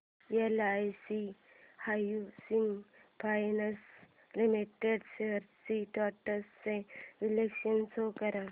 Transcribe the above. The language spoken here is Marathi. LIC housing finance limited shares trends चे विश्लेषण शो कर